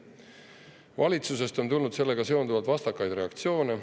Valitsusest on tulnud sellega seonduvalt vastakaid reaktsioone.